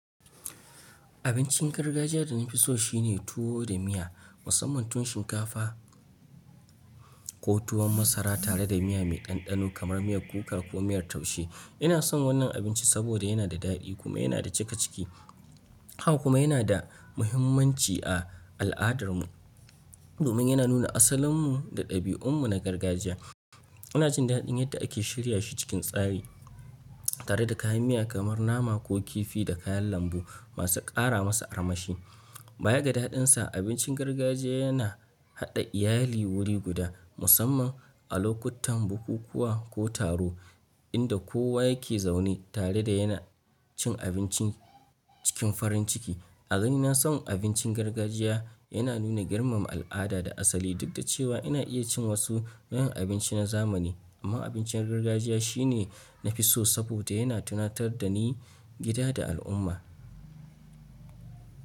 Abincin gargajiya da na fi so shine tuwo da miya, musamman tuwon shinkafa ko tuwon masara tare da miya mai ɗanɗano kamar miyar kuka ko miyar taushe. Ina son wannan abinci saboda yana da daɗi kuma yana da cikakiki. Haka kuma yana da muhimmanci a al'adarmu domin yana nuna asalinmu da ɗabi'unmu na gargajiya. Ina jin daɗin yadda ake shirya shi cikin tsari tare da kayan miya kamar nama ko kifi da kayan lambu masu ƙara masa armashi. Bayaga daɗinsa, abincin gargajiya yana haɗa iyali wuri guda, musamman a lokutan bukukuwa ko taro inda kowa yake zaune tare da yana cin abinci cikin farin ciki. A ganina son abincin gargajiya yana nuna girmama al'ada da asali, duk da cewa ina iya cin wasu nau'in abinci na zamani. Amma abincin gargajiya shine na fi so saboda yana tunatar da ni gida da al'umma.